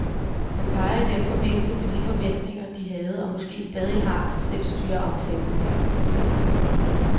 Han peger i den forbindelse på de forventninger, de havde og måske stadig har til selvstyreaftalen.